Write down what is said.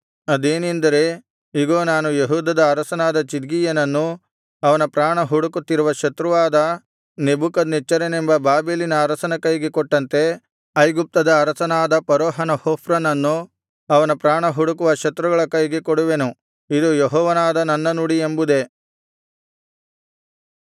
ಅದೇನೆಂದರೆ ಇಗೋ ನಾನು ಯೆಹೂದದ ಅರಸನಾದ ಚಿದ್ಕೀಯನನ್ನು ಅವನ ಪ್ರಾಣ ಹುಡುಕುತ್ತಿದ್ದ ಶತ್ರುವಾದ ನೆಬೂಕದ್ನೆಚ್ಚರನೆಂಬ ಬಾಬೆಲಿನ ಅರಸನ ಕೈಗೆ ಕೊಟ್ಟಂತೆ ಐಗುಪ್ತದ ಅರಸನಾದ ಫರೋಹ ಹೊಫ್ರನನ್ನು ಅವನ ಪ್ರಾಣ ಹುಡುಕುವ ಶತ್ರುಗಳ ಕೈಗೆ ಕೊಡುವೆನು ಇದು ಯೆಹೋವನಾದ ನನ್ನ ನುಡಿ ಎಂಬುದೇ